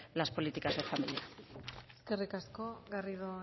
las políticas de familia eskerrik asko garrido